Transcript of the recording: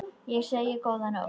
Ég segi: Góða nótt!